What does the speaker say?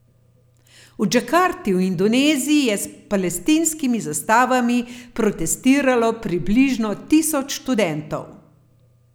V Džakarti v Indoneziji je s palestinskimi zastavami protestiralo približno tisoč študentov.